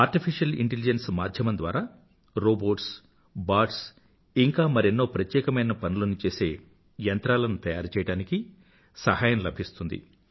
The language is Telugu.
ఆర్టిఫిషియల్ ఇంటెలిజెన్స్ మాధ్యమం ద్వారా రోబోట్స్ బాట్స్ ఇంకా మరెన్నో ప్రత్యేకమైన పనులను చేసే యంత్రాలను తయారుచేయడానికి సహాయం లభిస్తుంది